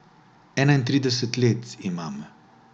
Enaintrideset let imam.